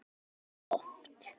Og það gerðist oft.